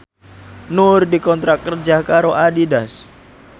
Nur dikontrak kerja karo Adidas